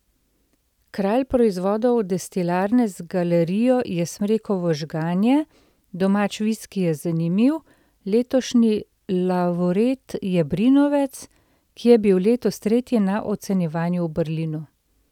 Kralj proizvodov destilarne z galerijo je smrekovo žganje, domač viski je zanimiv, letošnji lavreat je brinovec, ki je bil letos tretji na ocenjevanju v Berlinu.